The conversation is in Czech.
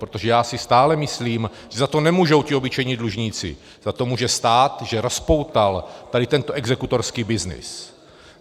Protože já si stále myslím, že za to nemůžou ti obyčejní dlužníci, za to může stát, že rozpoutal tady tento exekutorský byznys.